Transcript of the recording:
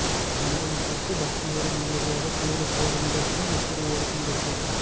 மனதும் கூசி பக்தியோடு நிம்மதிக்காக கோயிலுக்கு வரும் இடத்திலும் இப்படி ஒரு முரட்டுப்